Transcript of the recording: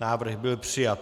Návrh byl přijat.